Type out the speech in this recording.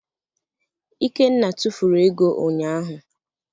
Ikenna tufuru ego ụnyaahụ.